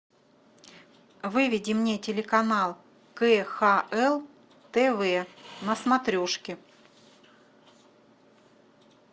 выведи мне телеканал кхл тв на смотрешке